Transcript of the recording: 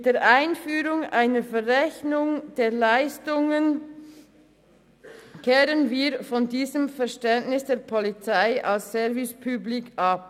Mit der Einführung einer Verrechnung der Leistungen wenden wir uns vom Verständnis der Polizei als Service public ab.